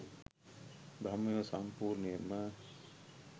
බ්‍රහ්මයෝ සම්පූර්ණයෙන්ම